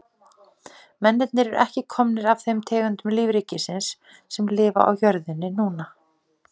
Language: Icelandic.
Mennirnir eru ekki komnir af þeim tegundum lífríkisins sem lifa á jörðinni núna.